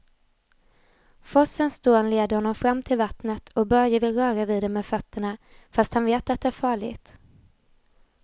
Forsens dån leder honom fram till vattnet och Börje vill röra vid det med fötterna, fast han vet att det är farligt.